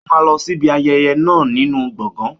Ó máa lọ síbi ayẹyẹ náà nínú gbọ̀ngàn.